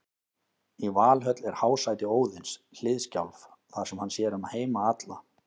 Í Valhöll er hásæti Óðins, Hliðskjálf, þar sem hann sér um heima alla.